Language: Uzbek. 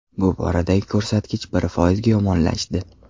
Bu boradagi ko‘rsatkich bir foizga yomonlashdi .